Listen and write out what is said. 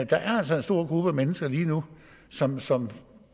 der er altså en stor gruppe af mennesker lige nu som som